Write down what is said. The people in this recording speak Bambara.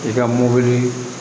I ka mobili